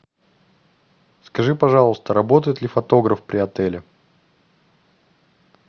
скажи пожалуйста работает ли фотограф при отеле